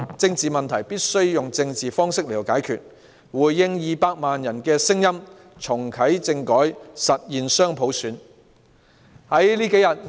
政治問題必須以政治方式解決，政府應回應200萬人的聲音，重啟政改，實現雙普選。